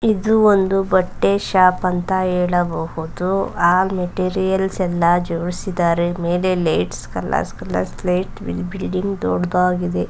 ಇದು ಒಂದು ಬಟ್ಟೆ ಶಾಪ್ ಅಂತ ಹೇಳಬಹುದು ಆ ಮೆಟೀರಿಯಲ್ಸ್ ಎಲ್ಲ ಜೋಡಿಸಿದರೆ ಮೇಲೇ ಲೈಟ್ಸ್ ಕಲ್ ಕಲರ್ಸ್ ಲೈಟ್ ಬಿಲ್ಡಿಂಗ್ ದೊಡ್ದಾಗಿದೆ.